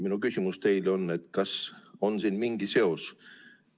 Minu küsimus teile on, kas siin on mingi seos.